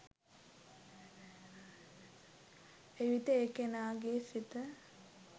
එවිට ඒ කෙනාගේ සිත